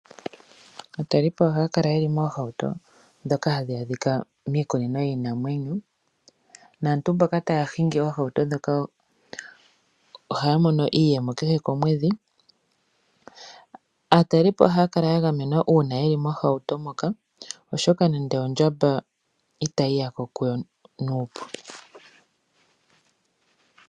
Aatalelipo ohaya kala ye li moohauto ndhoka hadhi adhika miikunino yiinamwenyo naantu mboka taya hingi oohauto ndhoka ohaya mono iiyemo kehe komwedhi. Aatalelipo ohaya kala ya gamenwa uuna ye li miihauto moka, oshoka nenge ondjamba itayi ya ko kuyo nuupu.